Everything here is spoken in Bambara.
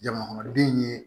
Jamakɔnɔden ye